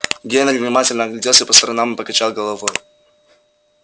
генри внимательно огляделся по сторонам и покачал головой